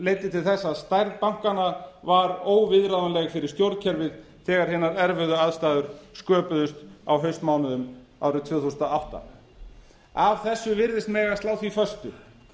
til þess að stærð bankanna var óviðráðanleg fyrir stjórnkerfið þegar hinar erfiðu aðstæður sköpuðust á haustmánuðum árið tvö þúsund og átta af þessu virðist mega slá því föstu